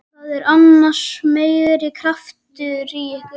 Það er annars meiri krafturinn í ykkur.